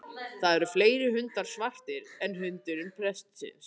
Það eru fleiri hundar svartir en hundurinn prestsins.